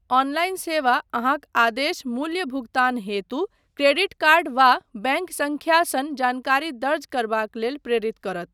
Online सेवा अहाँक आदेश मूल्य भुगतान हेतु क्रेडिट कार्ड वा बैङ्क संख्या सन जानकारी दर्ज करबाक लेल प्रेरित करत।